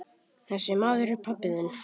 Þessi maður er pabbi þinn.